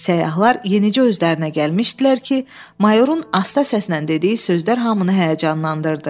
Səyyahlar yenicə özlərinə gəlmişdilər ki, mayorun asta səslə dediyi sözlər hamını həyəcanlandırdı.